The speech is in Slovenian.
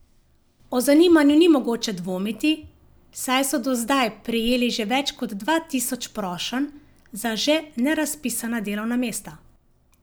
O zanimanju ni mogoče dvomiti, saj so do zdaj prejeli že več kot dva tisoč prošenj za še nerazpisana delovna mesta.